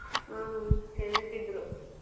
ಹಾ ಹೇಳ್ತಿದ್ರು.